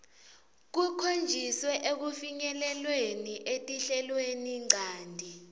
kukhonjiswe ekufinyeleleni etinhlelweninchanti